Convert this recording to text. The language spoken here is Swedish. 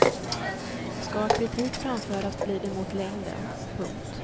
Ska kritik framföras blir det mot längden. punkt